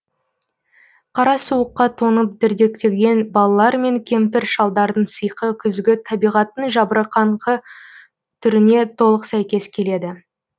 қара суыққа тоңып дірдектеген балалар мен кемпір шалдардың сиқы күзгі табиғаттың жабырқаңқы түріне толық сәйкес келеді